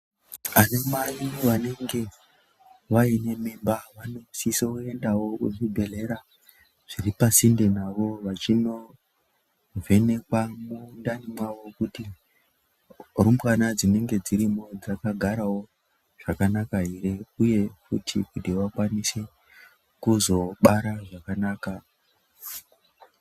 Vanamai vanenge vaine mimba vanosiso endawo kuzvibhedhlera zviripasinde navo vachinovhenekwa mundani mwavo kuti rumbwana dzinenge dzirimo dzakagarawo zvakanaka here uye futi kuti vakwanise kuzobara zvakanaka.